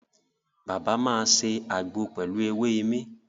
Bàbá máa ṣe àgbo pelu èwe imí